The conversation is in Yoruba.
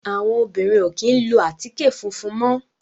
Àwọn obìnrin ò kí ń lo àtíkè funfun mọ́.